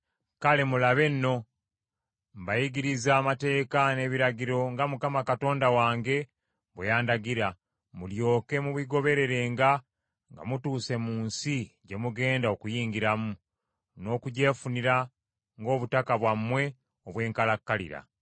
Kale, mulabe nno, mbayigirizza amateeka n’ebiragiro nga Mukama Katonda wange bwe yandagira, mulyoke mubigobererenga nga mutuuse mu nsi gye mugenda okuyingiramu, n’okugyefunira ng’obutaka bwammwe obw’enkalakkalira.